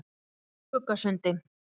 Skuggasundi